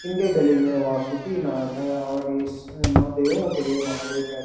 इनके गले में वासुकी नाग है और ये देवों के देव महादेव कह --